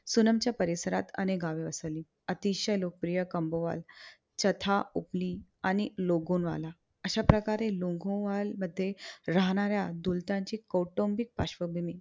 सुनमच्या परिसरात अनेक गावे बसवली. अतिशय लोकप्रिय कोम्बोवाल, चथा, ओपली आणि लोगोंवाला अश्याप्रकारे लोगोंवलमधे राहणाऱ्या दुलटांची कौटुंबिक पार्श्वभूमी